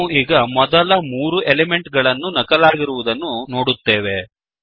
ನಾವು ಈಗ ಮೊದಲ ಮೂರು ಎಲಿಮೆಂಟ್ ಗಳನ್ನು ನಕಲಾಗಿರುವುದನ್ನು ನೋಡುತ್ತೇವೆ